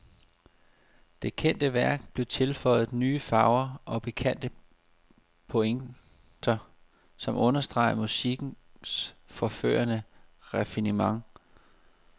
Det kendte værk blev tilføjet nye farver og pikante pointer, som understregede musikkens forførende raffinement.